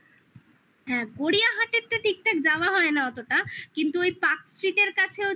হ্যাঁ গড়িয়াহাটেওটা ঠিকঠাক যাওয় হয়না অতটা কিন্তু ওই parkstreet কাছেও যেটা আছে